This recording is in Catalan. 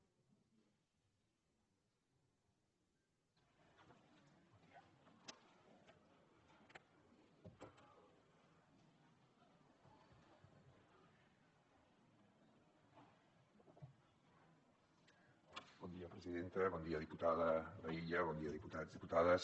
bon dia presidenta bon dia diputada laïlla bon dia diputats i diputades